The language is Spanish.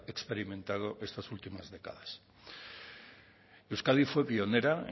experimentado estas últimas décadas euskadi fue pionera